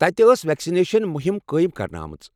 تَتہِ ٲس ویکسنیشن مہم قٲیم کرنہٕ آمٕژ۔